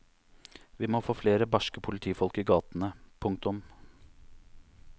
Vi må få flere barske politifolk i gatene. punktum